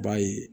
B'a ye